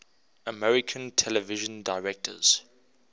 american television directors